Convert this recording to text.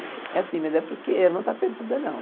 É assim, mas é porque ela não está perdida, não.